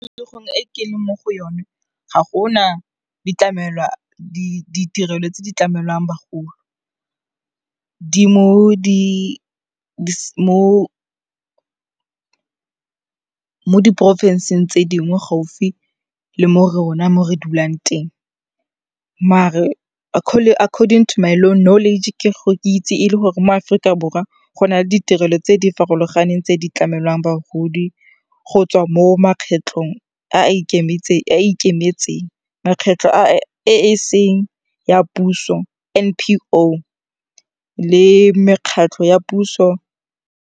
E ke leng mo go yone ga gona ditirelo tse di tlamelang bagolo. Di mo diporofenseng tse dingwe gaufi le mo rona mo re dulang teng mare according to my knowledge ke itse e le gore mo Aforika Borwa go na le ditirelo tse di farologaneng tse di tlamelang bagodi go tswa mo mekgatlhong e e ikemetseng, mekgatlho e e seng ya puso, N_P_O, le mekgatlho ya puso.